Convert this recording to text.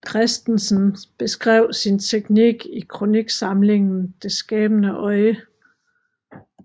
Kristensen beskrev sin teknik i kroniksamlingen Det Skabende Øje